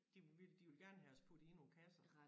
De vil de vil gerne have os puttet i nogle kasser